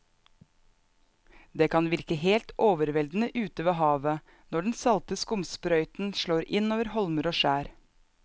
Det kan virke helt overveldende ute ved havet når den salte skumsprøyten slår innover holmer og skjær.